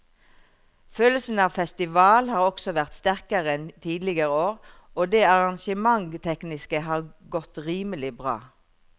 Følelsen av festival har også vært sterkere enn tidligere år og det arrangementstekniske har godt rimelig bra.